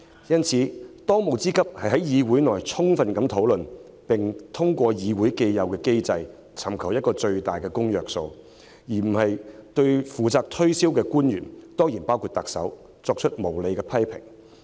因此，當務之急應是在議會內充分討論修訂，並通過議會既有機制尋求最大公約數，而非對負責推銷的官員——當然包括特首——作出無理批評。